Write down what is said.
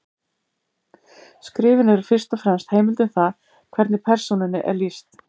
Skrifin eru fyrst og fremst heimild um það hvernig persónunni er lýst.